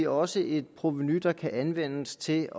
også et provenu der kan anvendes til